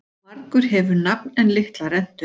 Margur hefur nafn en litla rentu.